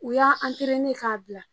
U y'a an ka bila.